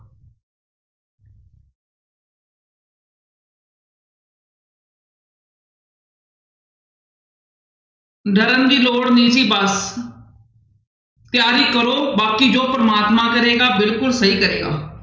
ਡਰਨ ਦੀ ਲੋੜ ਨੀ ਵੀ ਬਸ ਤਿਆਰੀ ਕਰੋ ਬਾਕੀ ਜੋ ਪ੍ਰਮਾਤਮਾ ਕਰੇਗਾ ਬਿਲਕੁਲ ਸਹੀ ਕਰੇਗਾ।